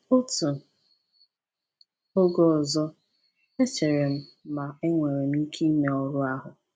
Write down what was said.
Otu oge ọzọ, echere m ma enwere m ike ime ọrụ ahụ.